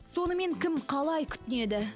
сонымен кім қалай күтінеді